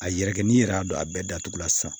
A yɛrɛ kɛ n'i yɛrɛ y'a don a bɛɛ datugu la sisan